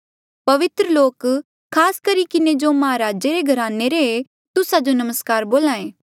पवित्र लोक खास करी किन्हें जो महाराजे रे घराने रे ऐें तुस्सा जो नमस्कार बोल्हा ऐें